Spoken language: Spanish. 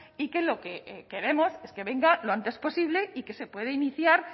y que lo que queremos es que venga lo antes posible y que se pueda iniciar